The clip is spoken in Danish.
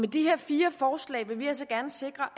de her fire forslag vil vi altså gerne sikre